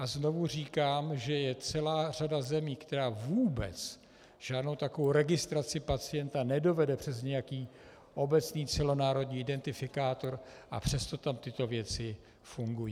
A znovu říkám, že je celá řada zemí, která vůbec žádnou takovou registraci pacienta nedovede přes nějaký obecný celonárodní identifikátor, a přesto tam tyto věci fungují.